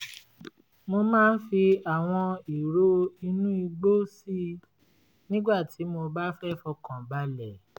mo máa ń fi àwọn ìró inú igbó si nígbà tí mo bá fẹ́ fọkànbalẹ̀